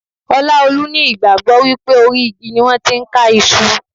Olaolu ní ìgbàgbọ́ wípé orí igi ni wón ti ń ká Iṣu.